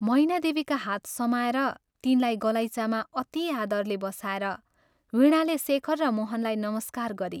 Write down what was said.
मैनादेवीका हात समाएर तिनलाई गलैँचामा अति आदरले बसाएर वीणाले शेखर र मोहनलाई नमस्कार गरी